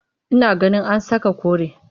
Ina ganin a saka kore